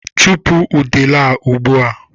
Chụpụ udele a ugbu a!